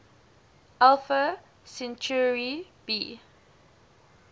alpha centauri b